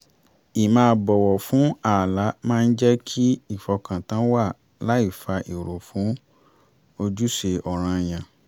ì máa bọ́wọ̀ fún ààlà máa ń jẹ́ kí ìfọkàntán wà láì fa èrò fún ojúṣe ọ̀ranyàn